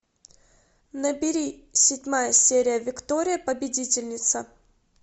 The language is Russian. набери седьмая серия виктория победительница